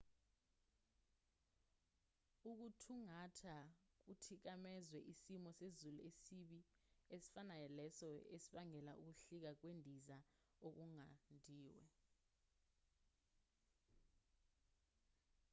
ukuthungatha kuthikamezwe isimo sezulu esibi esifanayo leso esibangele ukuhlika kwendiza okunqandiwe